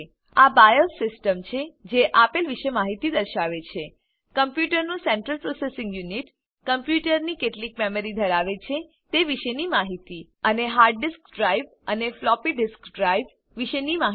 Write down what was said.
આ BIOS system છે જે આપેલ વિશે માહિતી દર્શાવે છે કમ્પ્યુટરનું સેન્ટ્રલ પ્રોસેસિંગ યુનિટ કમ્પ્યુટર કેટલી મેમરી ધરાવે છે તે વિશેની માહિતી અને હાર્ડ ડિસ્ક ડ્રાઈવ અને ફ્લોપી ડિસ્ક ડ્રાઈવ વિશેની માહિતી